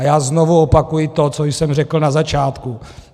A já znovu opakuji to, co jsem řekl na začátku.